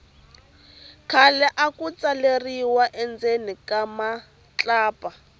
khale aku tsaleriwa endzeni ka matlapa